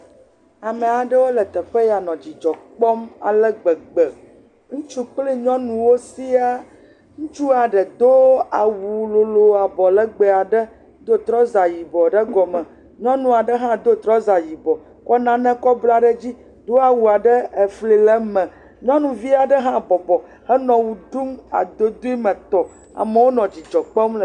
Ame aɖewo le teƒe ya nɔ dzidzɔ kpɔm ale gbegbe. Ŋutsu kpli nyɔnuwo siaa. Ŋutsua ɖe do awu lolo, abɔ legbee aɖe, do trɔza yibɔ ɖe egɔme. Nyɔnu aɖe hã do trɔza yibɔ, kɔ nane kɔ bla ɖe dzi, do awu aɖe, efli le me. Nyɔnuvi aɖe hã bɔbɔ henɔ wɔ ɖum adodoe me tɔ.